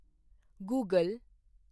Google